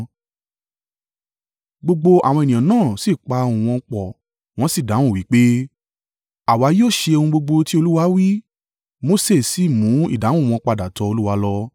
Gbogbo àwọn ènìyàn náà sì pa ohùn wọn pọ̀ wọ́n sì dáhùn wí pé, “Àwa yóò ṣe ohun gbogbo ti Olúwa wí.” Mose sì mú ìdáhùn wọn padà tọ Olúwa lọ.